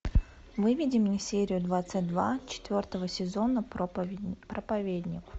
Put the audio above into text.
выведи мне серию двадцать два четвертого сезона проповедник